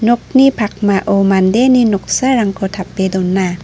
nokni pakmao mandeni noksarangko tape dona.